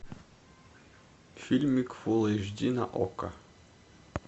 фильмик фулл эйч ди на окко